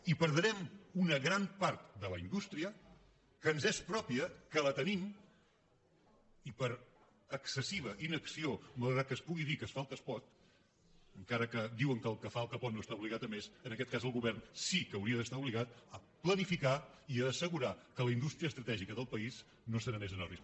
i perdrem una gran part de la indústria que ens és pròpia que la tenim i per excessiva inacció malgrat que es pugui dir que es fa el que es pot encara que diuen que el que fa el que pot no està obligat a més en aquest cas el govern sí que hauria d’estar obligat a planificar i a assegurar que la indústria estratègica del país no se n’anés en orris